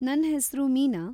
ನನ್‌ ಹೆಸ್ರು ಮೀನಾ.